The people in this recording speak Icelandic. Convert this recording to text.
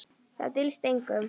Það dylst engum.